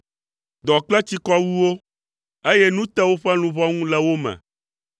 Dɔ kple tsikɔ wu wo, eye nu te woƒe luʋɔ ŋu le wo me.